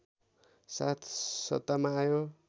साथ सत्तामा आयो